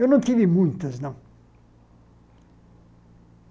Eu não tive muitas, não.